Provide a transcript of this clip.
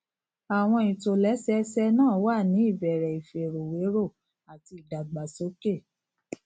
àwọn ìtòlẹsẹẹsẹ náà wà ní ìbẹrẹ ìfèròwérò àti ìdàgbàsókè